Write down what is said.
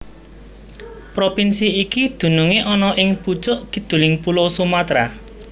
Propinsi iki dunungé ana ing pucuk kiduling pulo Sumatra